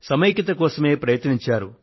సమైక్యత కోసమే ప్రయత్నించారు